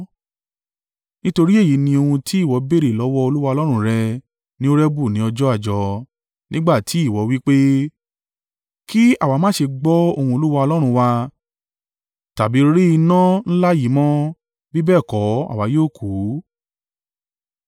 Nítorí èyí ni ohun tí ìwọ béèrè lọ́wọ́ Olúwa Ọlọ́run rẹ ní Horebu ní ọjọ́ àjọ, nígbà tí ìwọ wí pé, “Kí àwa má ṣe gbọ́ ohùn Olúwa Ọlọ́run wa tàbí rí iná ńlá yìí mọ́. Bí bẹ́ẹ̀ kọ́ àwa yóò kú.”